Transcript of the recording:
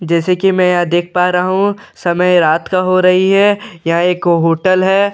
जैसा की मैं यहाँ देख पा रहा हूँ समय रात का हो रही है यहाँ एक होटल है जिसका नाम --